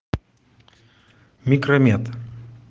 микромед